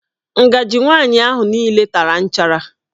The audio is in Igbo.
Ngaji nwaanyị ahụ niile tara nchara